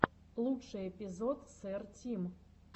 лучший эпизод сэр тим